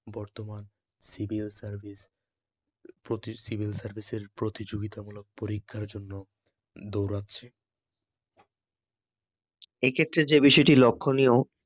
বর্তমান civil service এর প্রতি সিভিল সার্ভিস এর প্রতিযোগিতামূলক পরীক্ষার জন্য দৌড়াচ্ছে, এক্ষেত্রে যে বিষয়টি লক্ষণীয়